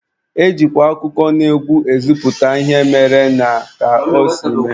E jikwa akụkọnaegwu ezipụta ihe mere na ka o si mee.